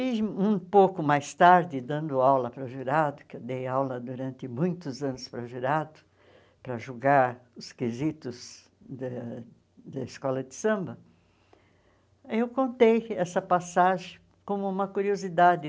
E um pouco mais tarde, dando aula para o jurado, que eu dei aula durante muitos anos para o jurado, para julgar os quesitos da da escola de samba, eu contei essa passagem como uma curiosidade.